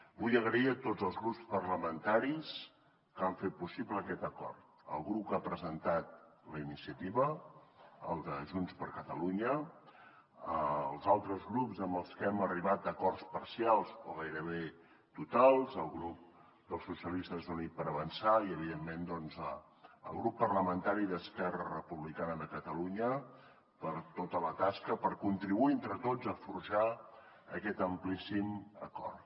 vull donar les gràcies a tots els grups parlamentaris que han fet possible aquest acord al grup que ha presentat la iniciativa el de junts per catalunya als altres grups amb els que hem arribat a acords parcials o gairebé totals al grup dels socialistes i units per avançar i evidentment doncs al grup parlamentari d’esquerra republicana de catalunya per tota la tasca per contribuir entre tots a forjar aquest amplíssim acord